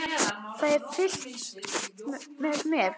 Það er fylgst með mér.